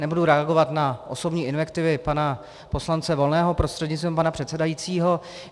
Nebudu reagovat na osobní invektivy pana poslance Volného prostřednictvím pana předsedajícího.